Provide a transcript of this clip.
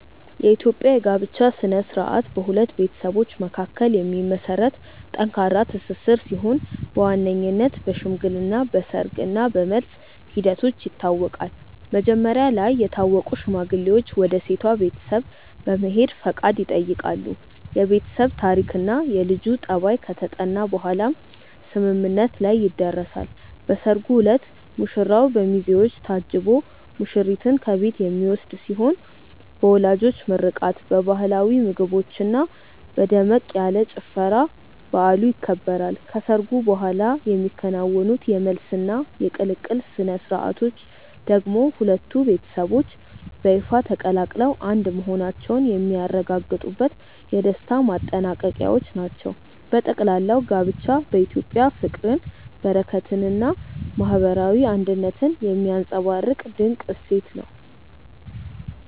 የኢትዮጵያ የጋብቻ ሥነ ሥርዓት በሁለት ቤተሰቦች መካከል የሚመሰረት ጠንካራ ትስስር ሲሆን በዋነኝነት በሽምግልና፣ በሰርግ እና በመልስ ሂደቶች ይታወቃል። መጀመሪያ ላይ የታወቁ ሽማግሌዎች ወደ ሴቷ ቤተሰብ በመሄድ ፈቃድ ይጠይቃሉ፤ የቤተሰብ ታሪክና የልጁ ጠባይ ከተጠና በኋላም ስምምነት ላይ ይደረሳል። በሰርጉ ዕለት ሙሽራው በሚዜዎች ታጅቦ ሙሽሪትን ከቤት የሚወስድ ሲሆን በወላጆች ምርቃት፣ በባህላዊ ምግቦችና በደመቅ ያለ ጭፈራ በዓሉ ይከበራል። ከሰርጉ በኋላ የሚከናወኑት የመልስና የቅልቅል ሥነ ሥርዓቶች ደግሞ ሁለቱ ቤተሰቦች በይፋ ተቀላቅለው አንድ መሆናቸውን የሚያረጋግጡበት የደስታ ማጠናቀቂያዎች ናቸው። በጠቅላላው ጋብቻ በኢትዮጵያ ፍቅርን፣ በረከትንና ማህበራዊ አንድነትን የሚያንፀባርቅ ድንቅ እሴት ነው።